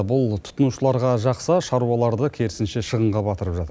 бұл тұтынушыларға жақса шаруаларды керісінше шығынға батырып жатыр